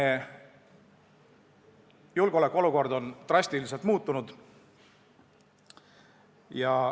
Meie julgeolekuolukord on drastiliselt muutunud.